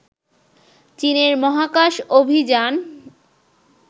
চীনের মহাকাশ অভিযান